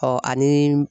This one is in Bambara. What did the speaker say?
Ɔ ani